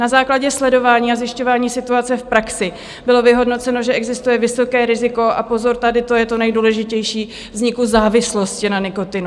Na základě sledování a zjišťování situace v praxi bylo vyhodnoceno, že existuje vysoké riziko - a pozor, tady to je to nejdůležitější - vzniku závislosti na nikotinu.